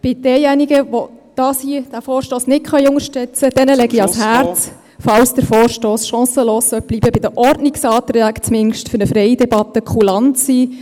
Denjenigen, die diesen Vorstoss nicht unterstützen können, …... denen lege ich ans Herz, sollte der Vorstoss chancenlos bleiben, zumindest bei den Ordnungsanträgen für eine freie Debatte kulant zu sein;